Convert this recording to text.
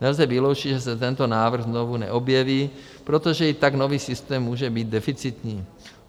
Nelze vyloučit, že se tento návrh znovu neobjeví , protože i tak nový systém může být deficitní.